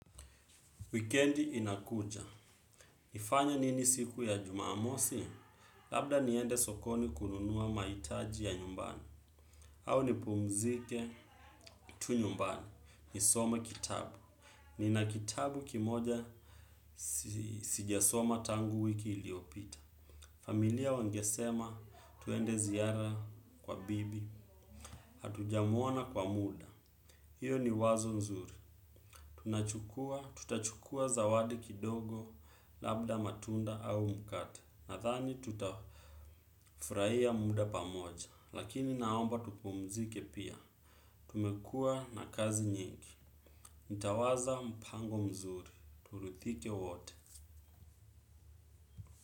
Weekendi inakuja. Nifanye nini siku ya jumamosi? Labda niende sokoni kununua mahitaji ya nyumbani. Au nipumzike tu nyumbani. Nisome kitabu. Nina kitabu kimoja sijasoma tangu wiki iliyopita. Familia wangesema twende ziara kwa bibi. Hatujamuona kwa muda. Iyo ni wazo nzuri, tunachukua, tutachukua zawadi kidogo labda matunda au mkate. Nadhani tutafurahia muda pamoja, lakini naomba tupumzike pia. Tumekuwa na kazi nyingi, nitawaza mpango mzuri, turidhike wote.